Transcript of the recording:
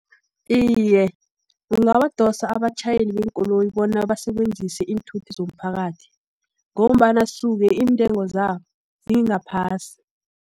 Iye, kungabadosa abatjhayeli beenkoloyi, bona basebenzise iinthuthi zomphakathi, ngombana suke iintengo zawo singaphasi.